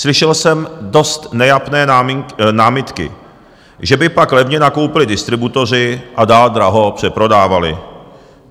Slyšel jsem dost nejapné námitky, že by pak levně nakoupili distributoři a dál draho přeprodávali.